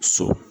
So